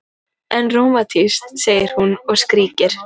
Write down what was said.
En rómantískt, segir hún og skríkir.